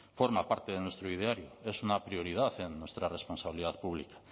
forma parte de nuestro ideario es una prioridad en nuestra responsabilidad pública